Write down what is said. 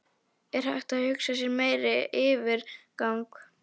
Er hægt að hugsa sér meiri yfirgang?